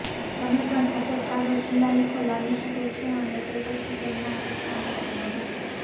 તમે પણ સફેદ કાગળ શિલાલેખો લાગી શકે છે અને તે પછી તેમના ચિત્રોને બનાવવા માટે